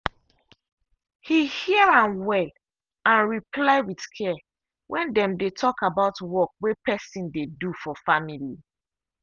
he hear am well and reply with care when dem dey talk about work way person dey do for family.